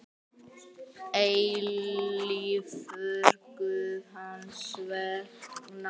eilífur Guð hans vegna.